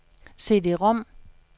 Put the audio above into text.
CD-rom